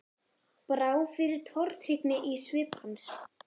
Brá fyrir tortryggni í svip hans?